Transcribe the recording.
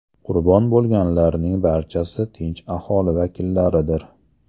Qurbon bo‘lganlarning barchasi tinch aholi vakillaridir.